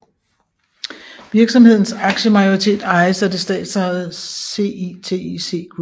Virksomhedens aktiemajoritet ejes af det statsejede CITIC Group